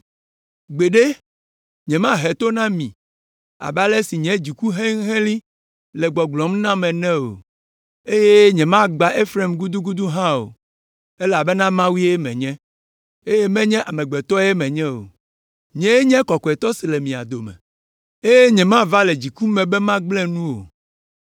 Gbeɖe, nyemahe to na mi abe ale si nye dziku helĩhelĩ le gbɔgblɔm nam ene o, eye nyemagbã Efraim gudugudu hã o, elabena Mawue menye, eye menye amegbetɔe menye o. Nyee nye Kɔkɔetɔ si le mia dome eye nyemava le dziku me be magblẽ nu o.